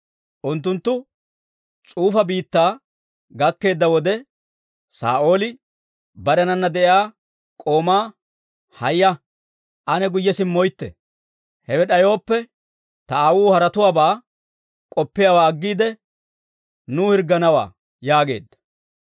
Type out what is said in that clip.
Unttunttu S'ufa biittaa gakkeedda wode, Saa'ooli barenana de'iyaa k'oomaa, «Haaya; ane guyye simmoytte; hewe d'ayooppe, ta aawuu haretuwaabaa k'oppiyaawaa aggiide, nuw hirgganawaa» yaageedda.